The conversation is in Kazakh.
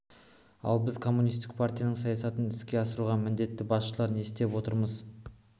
ал біз коммунистік партияның саясатын іске асыруға міндетті басшылар не істеп отырмыз